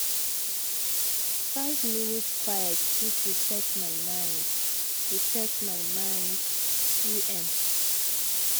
five minutes quiet fit reset my mind. reset my mind. u m